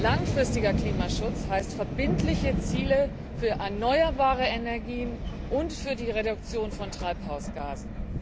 Langfristiger Klimaschutz heißt verbindliche Ziele für erneuerbare Energien und für die Reduktion von Treibhausgasen.